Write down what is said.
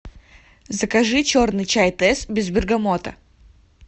закажи черный чай тесс без бергамота